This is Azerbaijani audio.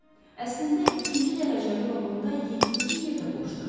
Əslində ikinci dərəcəli vaqonda yeddinci yer də boşdur.